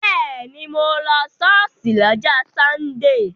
Bẹ́ẹ̀ni, mo lọ ṣọ́ọ̀ṣì lọ́jọ́ sọ́ndè